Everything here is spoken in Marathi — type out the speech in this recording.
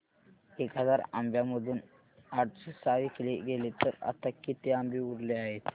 एक हजार आंब्यांमधून आठशे सहा विकले गेले तर आता किती आंबे उरले आहेत